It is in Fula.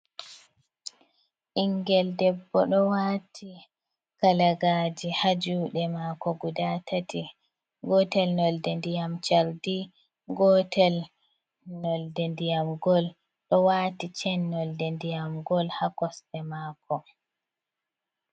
Ɓingel debbo ɗo wati kalagaje ha juɗe mako guda tati, gotel nolde ndiyam cardi, gotel nolde ndiyam gol, ɗo wati cen nolde ndiyam gol ha kosɗe mako.